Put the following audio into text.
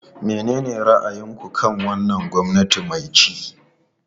Menene ra'ayinku kan wannan gwamnati mai ci?